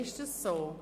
Ist dem so?